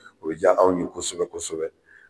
O diya anw ye kosɛbɛ kosɛbɛ